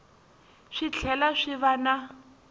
swi tlhela swi va na